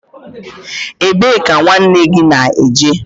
Ebe ka nwanne gị na-eje?